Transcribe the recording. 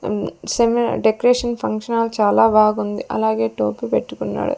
అన్ seminar decoration function hall చాలా బాగుంది అలాగే టోపీ పెట్టుకున్నాడు.